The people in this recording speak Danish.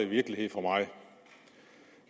virkelighed for mig